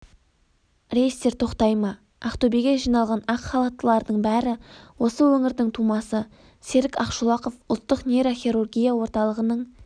рейстер тоқтай ма ақтөбеге жиналған ақ халаттылардың бәрі осы өңірдің тумасы серік ақшолақов ұлттық нейрохирургия орталығының